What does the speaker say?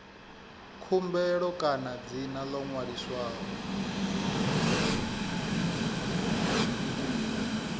khumbelo kana dzina ḽo ṅwaliswaho